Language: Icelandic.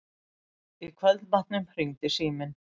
Í kvöldmatnum hringdi síminn.